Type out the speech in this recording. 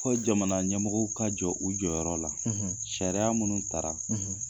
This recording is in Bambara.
Fo jamana ɲɛmɔgɔw ka jɔ u jɔyɔrɔ la sariya minnu ta ra.